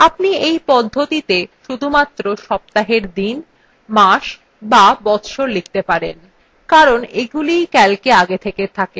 আপনি you পদ্ধতিতে শুধুমাত্র সপ্তাহের দিন মাস বা বচ্ছর লিখতে পারবেন কারণ এগুলিই calcএ আগে থেকে থাকে